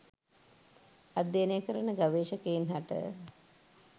අධ්‍යයනය කරන ගවේශකයින් හට